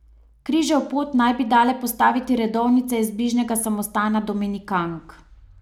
Križev pot naj bi dale postaviti redovnice iz bližnjega samostana dominikank.